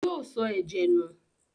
Yóò sọ ẹ̀jẹ̀ nù?